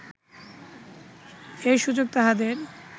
এই সুযোগ তাহাদের